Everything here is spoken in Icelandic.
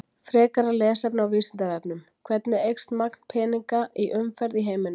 Frekara lesefni á Vísindavefnum: Hvernig eykst magn peninga í umferð í heiminum?